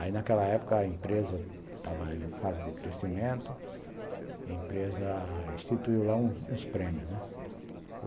Aí, naquela época, a empresa estava em fase de crescimento, a empresa instituiu lá uns prêmios, né.